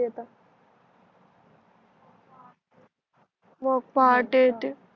मग पहाटे येते